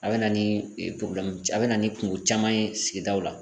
A bɛ na ni a bɛ na ni kungo caman ye sigidaw la.